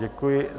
Děkuji.